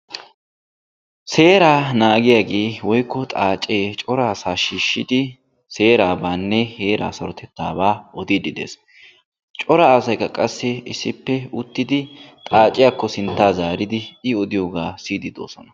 Seeraa naagiyaagee woykko xaacce cora asaa shiishidi seerabaanne heeraa sarotettaabaa oddiidi dees. Cora asaykka qassi issippe uttidi xaacciyaakko sinttaa zaaridi I odiyogaa siyidi de'oosona.